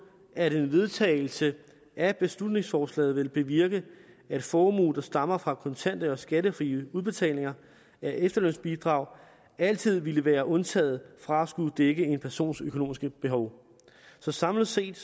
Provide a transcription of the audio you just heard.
at en vedtagelse af beslutningsforslaget vil bevirke at formue der stammer fra kontant eller skattefrie udbetalinger af efterlønsbidrag altid ville være undtaget fra at skulle dække en persons økonomiske behov så samlet set